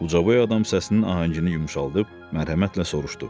Ucaboy adam səsinin ahəngini yumşaldıb mərhəmətlə soruşdu.